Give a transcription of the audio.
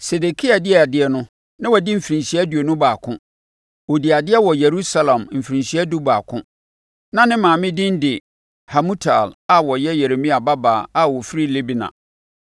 Sedekia dii adeɛ no, na wadi mfirinhyia aduonu baako. Ɔdii adeɛ wɔ Yerusalem mfirinhyia dubaako. Na ne maame din de Hamutal a ɔyɛ Yeremia babaa a ɔfiri Libna.